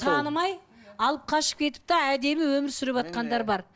танымай алып қашып кетіп те әдемі өмір сүрватқандар бар